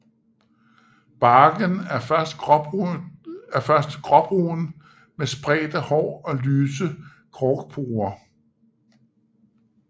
Barken er først gråbrun med spredte hår og lyse korkporer